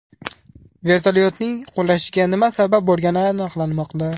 Vertolyotning qulashiga nima sabab bo‘lgani aniqlanmoqda.